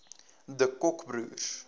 de kock broers